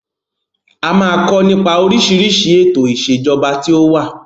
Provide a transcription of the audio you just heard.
A máa kọ nípa oríṣiríṣi ètò ìsèjọba tí ó wà.